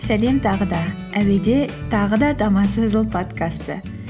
сәлем тағы да әуеде тағы да тамаша жыл подкасты